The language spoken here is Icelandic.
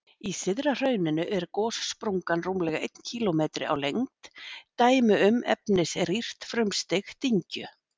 Í syðra hrauninu er gossprungan rúmlega einn kílómetri á lengd, dæmi um efnisrýrt frumstig dyngju.